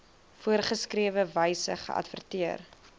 voorgeskrewe wyse geadverteer